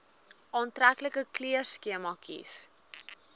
aantreklike kleurskema kies